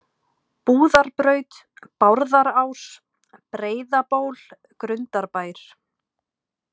Búðarbraut, Bárðarás, Breiðaból, Grundarbær